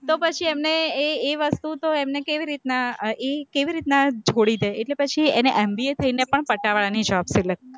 તો પછી એમને, એ વસ્તુ તો એમને કેવી રીતના, ઈ છોડી દે એટલે પછી એમને M. B. A. થઈને પણ પટાવાળાની જોબ